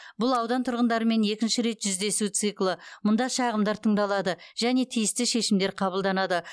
бұл аудан тұрғындарымен екінші рет жүздесу циклы мұнда шағымдар тыңдалады және тиісті шешімдер қабылданады